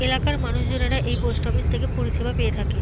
এলাকার মানুষজনেরা এই পোস্ট অফিস থেকে পরিষেবা পেয়ে থাকে।